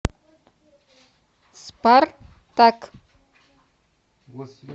спартак